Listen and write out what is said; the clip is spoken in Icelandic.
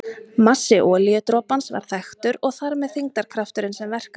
Massi olíudropans var þekktur og þar með þyngdarkrafturinn sem verkaði á hann.